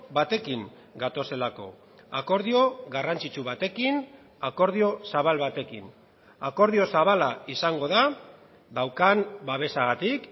batekin gatozelako akordio garrantzitsu batekin akordio zabal batekin akordio zabala izango da daukan babesagatik